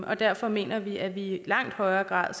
og derfor mener vi at vi i langt højere grad